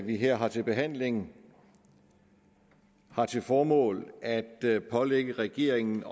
vi her har til behandling har til formål at at pålægge regeringen